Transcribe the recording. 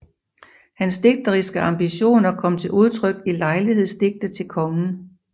Hans digteriske ambitioner kom til udtryk i lejlighedsdigte til kongen